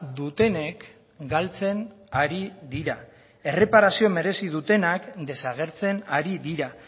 dutenek galtzen ari dira erreparazioa merezi dutenak desagertzen ari dira